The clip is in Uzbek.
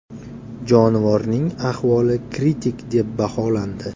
Jonivorning ahvoli kritik deb baholandi.